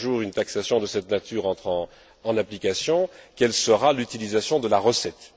Si un jour une taxation de cette nature entre en application, quelle sera l'utilisation de la recette?